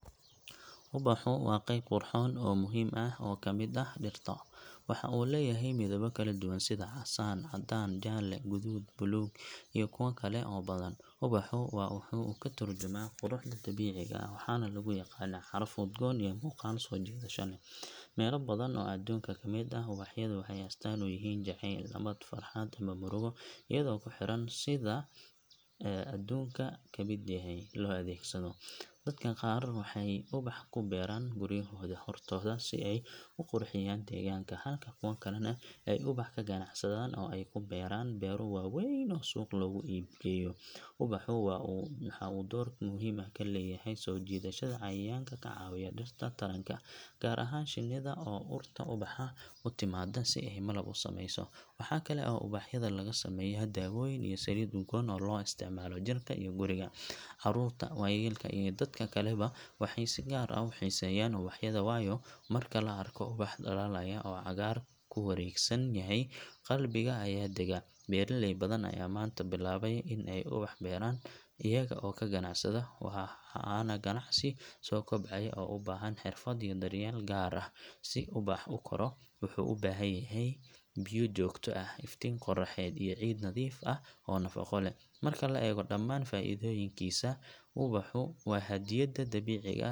Ubaxu waa qayb qurxoon oo muhiim ah oo ka mid ah dhirta. Waxa uu leeyahay midabbo kala duwan sida casaan, caddaan, jaalle, guduud, buluug iyo kuwo kale oo badan. Ubaxu waxa uu ka tarjumaa quruxda dabiiciga ah, waxaana lagu yaqaannaa caraf udgoon iyo muuqaal soo jiidasho leh. Meelo badan oo adduunka ka mid ah ubaxyadu waxay astaan u yihiin jaceyl, nabad, farxad ama murugo iyadoo ku xiran sida loo adeegsado. Dadka qaar waxay ubax ku beeraan guryahooda hortooda si ay u qurxiyaan deegaanka, halka kuwa kalena ay ubax ka ganacsadaan oo ay ku beeraan beero waaweyn oo suuq loogu iib geeyo. Ubaxu waxa uu door muhiim ah ku leeyahay soo jiidashada cayayaanka ka caawiya dhirta taranka, gaar ahaan shinnida oo urta ubaxa u timaadda si ay malab u samayso. Waxaa kale oo ubaxyada laga sameeyaa dawooyin iyo saliid udgoon oo loo isticmaalo jirka iyo guriga. Caruurta, waayeelka iyo dadka kaleba waxay si gaar ah u xiiseeyaan ubaxyada, waayo marka la arko ubax dhalaalaya oo cagaar ku wareegsan yahay, qalbiga ayaa dega. Beeraley badan ayaa maanta bilaabay in ay ubax beeraan iyaga oo ka ganacsada, waana ganacsi soo kobcaya oo u baahan xirfad iyo daryeel gaar ah. Si ubax u koro, wuxuu u baahan yahay biyo joogto ah, iftiin qorraxeed, iyo ciid nadiif ah oo nafaqo leh. Marka la eego dhammaan faa’iidooyinkiisa, ubaxu waa hadiyadda dabiiciga ah .